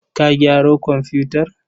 Ka gyaro komfutar?